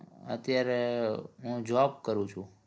અત્યારે હું job કરું છું